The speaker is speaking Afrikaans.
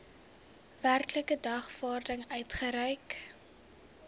werklike dagvaarding uitgereik